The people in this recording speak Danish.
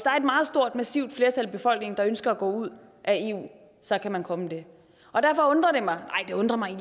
meget stort massivt flertal i befolkningen der ønsker at gå ud af eu så kan man komme det det undrede mig